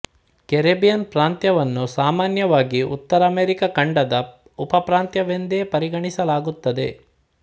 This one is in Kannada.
ಕೆರೆಬ್ಬಿಯನ್ ಪ್ರಾಂತ್ಯವನ್ನು ಸಾಮಾನ್ಯವಾಗಿ ಉತ್ತರ ಅಮೇರಿಕ ಖಂಡದ ಉಪಪ್ರಾಂತ್ಯವೆಂದೇ ಪರಿಗಣಿಸಲಾಗುತ್ತದೆ